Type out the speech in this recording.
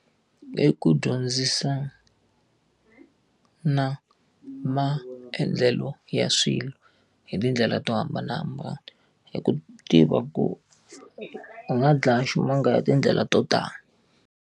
I ku dyondzisana maendlelo ya swilo hi tindlela to hambanahambana hi ku tiva ku u nga dlaya ximanga ya tindlela to tala.